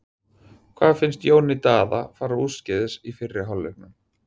Hvað fannst Jóni Daða fara úrskeiðis í fyrri hálfleiknum?